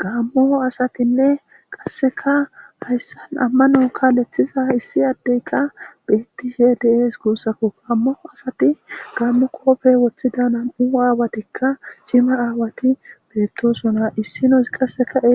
Gamo asatinee qaseka amano kalethiza issi adeyka de'es gusako ha gamo asati gamo qophe woxida na'mu awatika cima awati betosona issinozi